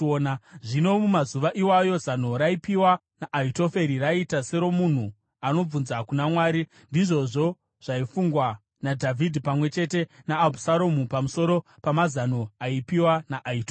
Zvino mumazuva iwayo zano raipiwa naAhitoferi raiita seromunhu anobvunza kuna Mwari. Ndizvozvo zvaifungwa naDhavhidhi pamwe chete naAbhusaromu pamusoro pamazano aipiwa naAhitoferi.